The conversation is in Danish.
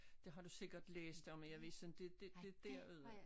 Det har du sikkert læst om i avisen det det det derude